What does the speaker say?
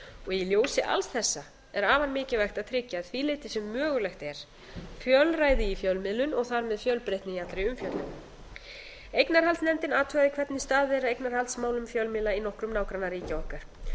í ljósi alls þessa er afar mikilvægt að tryggja að því leyti sem mögulegt er fjölræði í fjölmiðlun og þar með fjölbreytni í allri umfjöllun eignarhaldsnefndin athugaði hvernig staðið er að eignarhaldsmálum fjölmiðla í nokkrum nágrannaríkja okkar